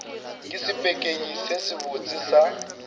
ke sepekenyi se sebotse sa